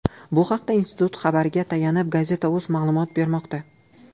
Bu haqda institut xabariga tayanib Gazeta.uz ma’lumot bermoqda .